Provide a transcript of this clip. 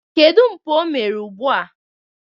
Kedu mpụ omere ugbua?